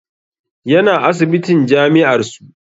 Yana asibitin jami'ar su